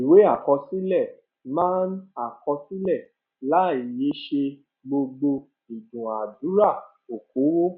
ìwé àkọsílẹ máa ń àkọsílẹ láìyẹsẹ gbogbo ìdúnadúrà okòwò